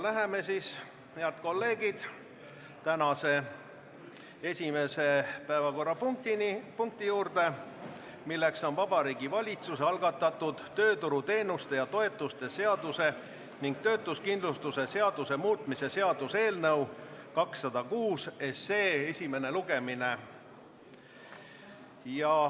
Läheme siis, head kolleegid, tänase esimese päevakorrapunkti juurde, milleks on Vabariigi Valitsuse algatatud tööturuteenuste ja -toetuste seaduse ning töötuskindlustuse seaduse muutmise seaduse eelnõu 206 esimene lugemine.